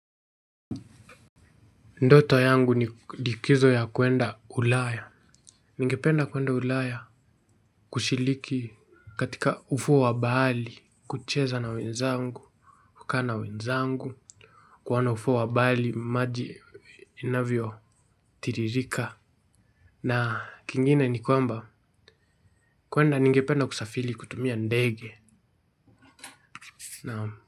Ndoto yangu ni likizo ya kuenda ulaya. Ningependa kuenda ulaya kushiriki katika ufuo wa bahari, kucheza na wenzangu, kukaa na wenzangu, kuona ufuo wa bahari, maji inavyo tiririka. Na kingine ni kwamba kuenda ningependa kusafiri kutumia ndege. Naam.